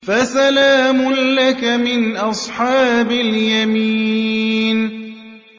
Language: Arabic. فَسَلَامٌ لَّكَ مِنْ أَصْحَابِ الْيَمِينِ